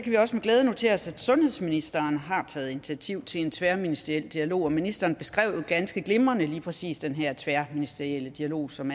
vi også med glæde notere os at sundhedsministeren har taget initiativ til en tværministeriel dialog og ministeren beskrev jo ganske glimrende lige præcis den her tværministerielle dialog som